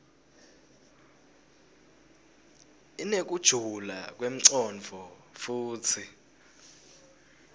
inekujula kwemcondvo futsi